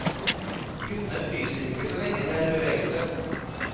Guttene fryser ikke så lenge de er i bevegelse.